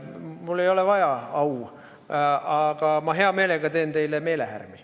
Mul ei ole au vaja, aga ma teen hea meelega teile meelehärmi.